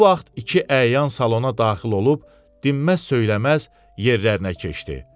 Bu vaxt iki əyan salona daxil olub, dinməz söyləməz yerlərinə keçdi.